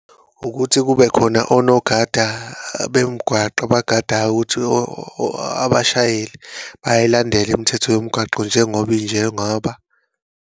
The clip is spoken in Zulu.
Ukuthi kubekhona onogada bemgwaqo abagadayo ukuthi abashayeli bayayilandela imithetho yomgwaqo, njengoba injengoba.